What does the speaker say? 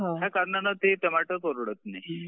ह्या कारणाने ते टोमॅटो परवडत नाही.